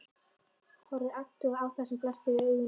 Horfði agndofa á það sem blasti við augum.